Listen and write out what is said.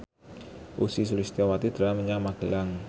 Ussy Sulistyawati dolan menyang Magelang